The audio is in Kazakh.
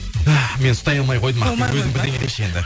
мен ұстай алмай қойдым ақбибі өзің бірдеңе деші енді